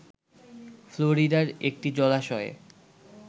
ফ্লোরিডার একটি জলাশয়ে